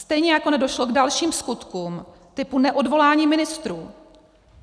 Stejně jako nedošlo k dalším skutkům typu neodvolání ministrů.